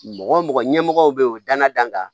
Mɔgɔ mɔgɔ ɲɛmɔgɔ be yen o dana d'an kan